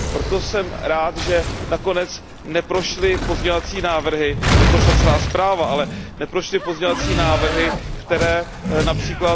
Proto jsem rád, že nakonec neprošly pozměňovací návrhy, neprošla celá zpráva, ale neprošly pozměňovací návrhy, které např.